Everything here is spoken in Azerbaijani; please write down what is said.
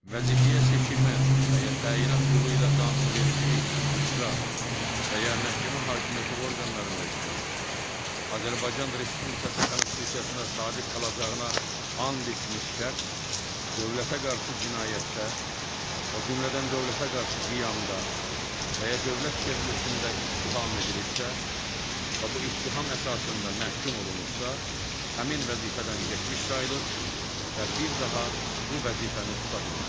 Vəzifəyə seçilmə və ya təyinat yolu ilə qanunvericilik, icra və ya məhkəmə hakimiyyəti orqanlarında işləyən, Azərbaycan Respublikası Konstitusiyasına sadiq qalacağına and içmiş şəxs dövlətə qarşı cinayətdə, o cümlədən dövlətə qarşı qiyamda və ya dövlət çevrilişində ittiham edilibsə və bu ittiham əsasında məhkum olunubsa, həmin vəzifədən getmiş sayılır və bir daha bu vəzifəni tuta bilməz.